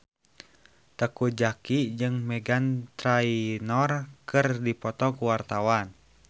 Teuku Zacky jeung Meghan Trainor keur dipoto ku wartawan